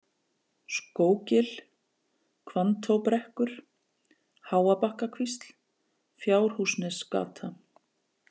Skóggil, Hvanntóbrekkur, Háabakkakvísl, Fjárhúsnesgata